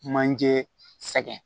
Manjee sɛngɛ